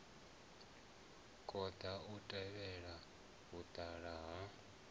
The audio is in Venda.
konḓa u tevhela vhuṱala ha